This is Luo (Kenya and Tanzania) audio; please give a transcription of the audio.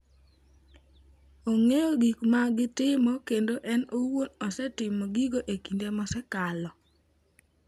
Ong'eyo gik ma gitimo, kendo en owuon osetimo gigo e kinde mosekalo.